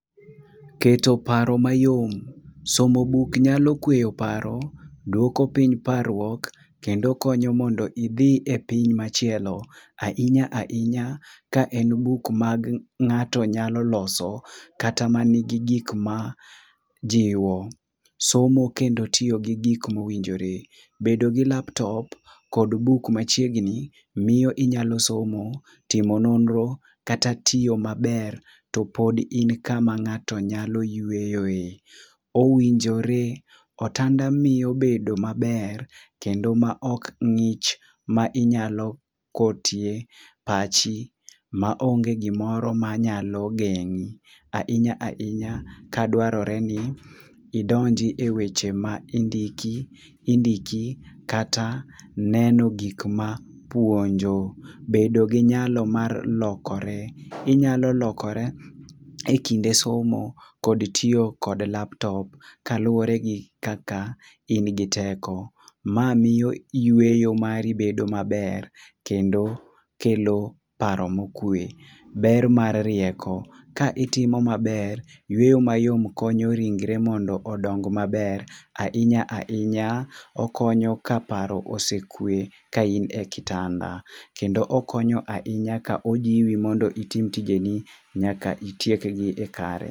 Keto paro mayom, somo buk nyalo kweyo paro, duoko piny parruok kendo konyo mondo idhi e piny machielo. Ahinya ahinya ka en buk ma ng'ato nyalo loso, kata man gi gik ma jiwo. Somo kendo tiyo gi gik mowinjore. Bedo gi laptop kod buk machiegni miyo inyalo somo. Timo nonro kata tiyo maber to pod in kama ng'ato nyalo yueyoe. Owinjore otanda miyo bedo maber kendo maok ng'ich ma inyalo kotie pachi maonge gimoro manyalo geng'i ahinya ahinya ka dwarore ni idonji eweche ma indiki indiki kata neno gik ma puonjo. Bedo gi nyalo ma lokore, inyalo lokore ekinde somo kod tiyo kod laptop kaluwore gi kaka in gi teko. Ma miyo yueyo mari bedo maber, kendo kelo paro mokue. Ber mar rieko. Ka itimo maber, yueyo mayom konyo ringre mondo odong maber. Ahinya ahinya okonyo ka paro osekwe ka in e kitanda kendo okonyo ahinya ka ojiwi mondo itim tijeni nyaka itiekgi kare.